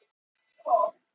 Víðikeri